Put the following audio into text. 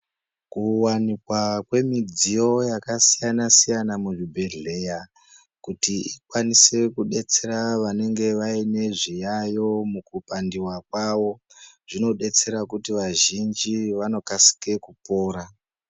Kuwanikwa kwemidziyo yakasiyana siyana muzvibhedhleya kuti ikwanisire kudetsera wanenge waine zviyaiyo mukupandiwa kwavo zvinodetsera kuti vazhinji wanokasike kupora.